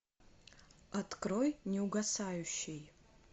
открой неугасающий